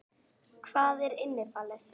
Hvað er innifalið?